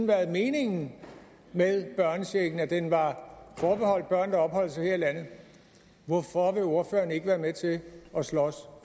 været meningen med børnechecken altså at den var forbeholdt børn der opholdt sig her i landet hvorfor vil ordføreren ikke være med til at slås